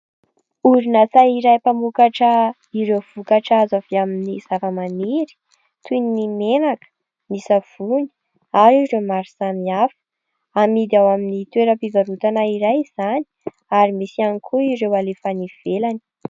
Orinasa iray mpamokatra ireo vokatra azo avy amin'ny zavamaniry toy ny menaka, ny savony ary ireo maro samihafa. Amidy ao amin'ny toeram-pivarotana iray izany ary misy ihany koa ireo alefa any ivelany.